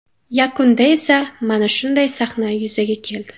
Yakunda esa mana shunday sahna yuzaga keldi.